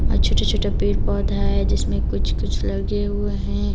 छोटे छोटे पेड़ पौधा है जिसमें कुछ कुछ लगे हुए है।